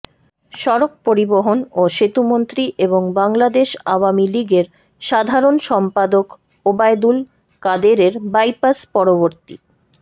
সড়ক পরিবহন ও সেতুমন্ত্রী এবং বাংলাদেশ আওয়ামী লীগের সাধারণ সম্পাদক ওবায়দুল কাদেরের বাইপাস পরবর্তী